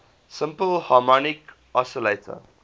simple harmonic oscillator